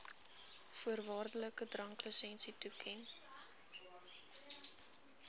voorwaardelike dranklisensie toeken